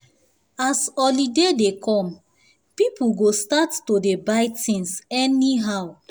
as holiday dey come people go start to dey buy things anyhow